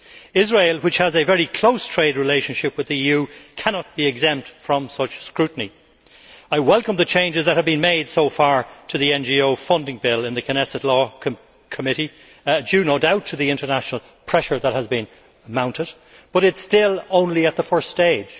Israel, which has a very close trade relationship with the EU, cannot be exempt from such scrutiny. I welcome the changes that have been made so far to the NGO funding bill in the Knesset law committee, owing no doubt to the international pressure that has been mounted, but it is still only at the first stage.